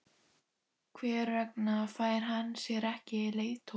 Hver vegna fær hann sér ekki leiðtoga?